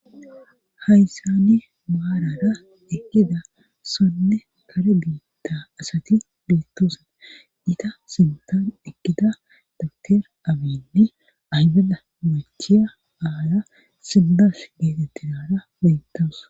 Hayssani maarara ekkida sonne kare biitta asati beettoosaa ita sintan ekida dater abiynni aywada machiya aala sibbash geetettinara bentoos.